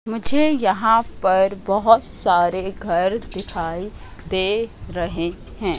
मुझे यहां पर बहोत सारे घर दिखाई दे रहे हैं।